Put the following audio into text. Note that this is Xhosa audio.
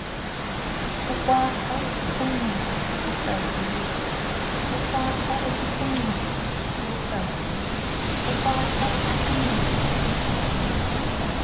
ukwakha ukuphucula ukuhlaziya